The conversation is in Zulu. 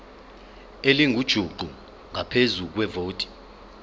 elingujuqu ngaphezu kwevoti